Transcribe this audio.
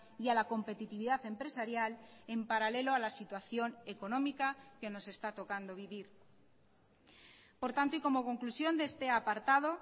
y a la competitividad empresarial en paralelo a la situación económica que nos está tocando vivir por tanto y como conclusión de este apartado